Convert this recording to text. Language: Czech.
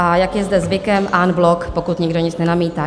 A jak je zde zvykem, en bloc, pokud nikdo nic nenamítá.